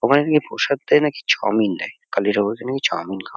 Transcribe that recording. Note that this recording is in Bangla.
ওখানে নাকি প্রসাদটাই নাকি চাউমিন দেয়। কালী ঠাকুরকে নাকি চাউমিন খা --